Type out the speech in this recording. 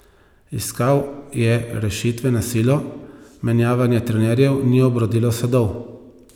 Iskal je rešitve na silo, menjavanje trenerjev ni obrodilo sadov.